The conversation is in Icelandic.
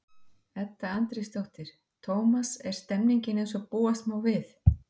Edda Andrésdóttir: Tómas, er stemningin eins og búast má við?